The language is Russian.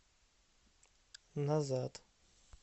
назад